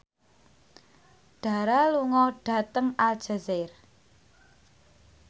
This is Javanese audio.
Dara lunga dhateng Aljazair